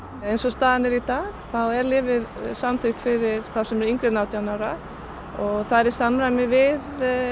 eins og staðan er í dag er lyfið samþykkt fyrir þá sem eru yngri en átján ára það er í samræmi við